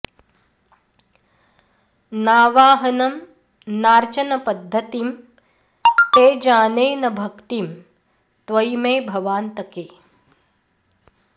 नावाहनं नार्चन पद्धतिं ते जाने न भक्तिं त्वयि मे भवान्तके